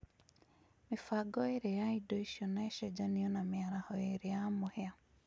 mĩbango ĩĩrĩ ya indo icio na ĩcenjanio na mĩaraho ĩĩrĩ ya mũhĩa